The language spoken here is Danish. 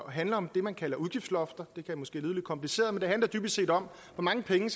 handler om det man kalder udgiftslofter det kan måske lyde lidt kompliceret men det handler dybest set om hvor mange penge